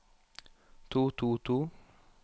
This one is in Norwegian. to to to